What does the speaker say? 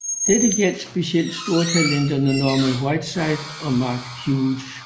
Dette gjaldt specielt stortalenterne Norman Whiteside og Mark Hughes